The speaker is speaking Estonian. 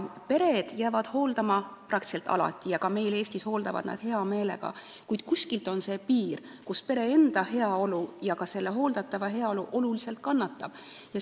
Pered jäävad hooldama peaaegu alati ja ka meil Eestis hooldavad nad hea meelega, kuid kuskil on see piir, kus pere enda heaolu ja ka hooldatava heaolu oluliselt kannatama hakkavad.